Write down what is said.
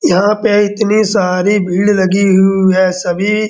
यहाँ पे इतनी सारी भीड़ लगी हू है। सभी --